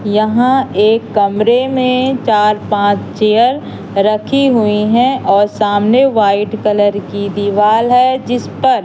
यहां एक कमरें में चार पांच चेयर रखी हुई है और सामने व्हाइट कलर की दीवाल है जिस पर--